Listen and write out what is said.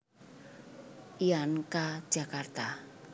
lan K Jakarta